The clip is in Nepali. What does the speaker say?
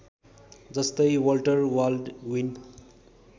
जस्तै वल्टर बाल्डविन